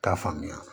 T'a faamuya